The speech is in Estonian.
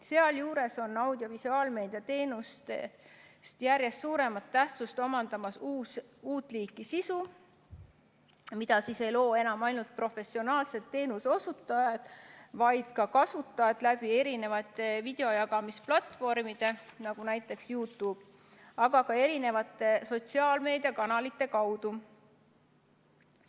Sealjuures on audiovisuaalmeedia teenustest järjest suuremat tähtsust omandamas uut liiki sisu, mida ei loo enam ainult professionaalsed teenuse osutajad, vaid ka kasutajad mitmesuguste videojagamisplatvormide, näiteks YouTube'i, aga ka eri sotsiaalmeediakanalite kaudu.